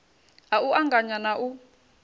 ha u anganya na u